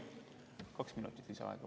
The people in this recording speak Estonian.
Palun kaks minutit lisaaega.